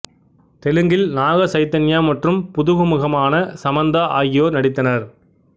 தெலுங்கில் நாக சைதன்யா மற்றும் புதுமுகமான சமந்தா ஆகியோர் நடித்தனர்